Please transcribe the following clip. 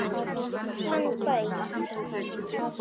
Hann gaus